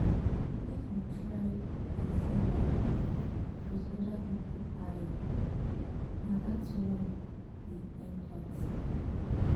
make you try dey see life wit other pipu eye na dat one be empathy.